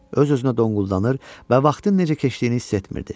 Öz-özünə donquldanır və vaxtın necə keçdiyini hiss etmirdi.